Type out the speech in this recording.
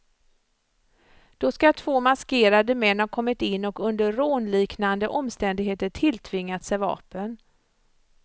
Då ska två maskerade män ha kommit in och under rånliknande omständigheter tilltvingat sig vapen.